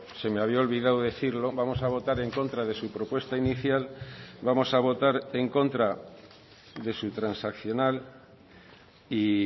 se me había olvidado decirlo vamos a votar en contra de su propuesta inicial vamos a votar en contra de su transaccional y